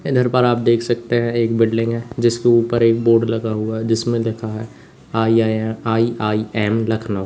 इधर पर आप देख सकते हैं एक बिल्डिंग है जिसके ऊपर एक बोर्ड लगा हुआ हैं जिसमें लिखा है आई_आई_एम आई_आई_एम लखनऊ।